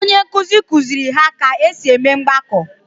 Onye nkuzi kuziri ha ka esi eme mgbako